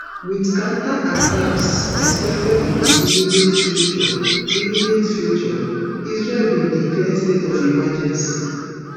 wit counterattacks expected in di immediate future immediate future israel bin declare state of emergency